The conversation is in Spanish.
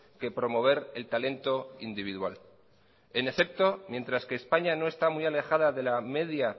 que promover el talento individual en efecto mientras que españa no está muy alejada de la media